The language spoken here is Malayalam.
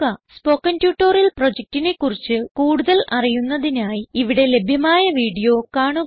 സ്പോകെൻ ട്യൂട്ടോറിയൽ പ്രൊജക്റ്റിനെ കുറിച്ച് കൂടുതൽ അറിയുന്നതിനായി ഇവിടെ ലഭ്യമായ വീഡിയോ കാണുക